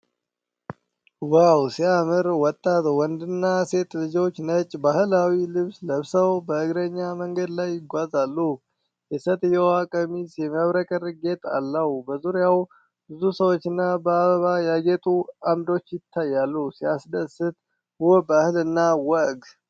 ዋው ሲያምር! ወጣት ወንድና ሴት ልጆች ነጭ ባህላዊ ልብስ ለብሰው በእግረኛ መንገድ ላይ ይጓዛሉ። የሴትየዋ ቀሚስ የሚያብረቀርቅ ጌጥ አለው። በዙሪያው ብዙ ሰዎችና በአበባ ያጌጡ ዓምዶች ይታያሉ። ሲያስደስት! ውብ ባህልና ወግ!